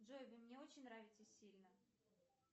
джой вы мне очень нравитесь сильно